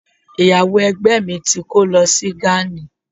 ìyàwó Egbe mi ti ko lo sí gani